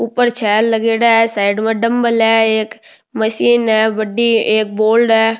ऊपर छैल लगेड़ा है साइड में डम्बल है एक मशीन है बड़ी एक बोर्ड है।